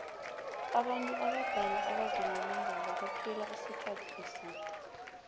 abantu abadala abazilolongako baphila isikhathi eside